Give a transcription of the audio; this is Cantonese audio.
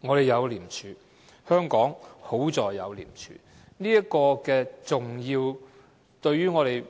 我們有廉署，幸好香港有廉署，令我們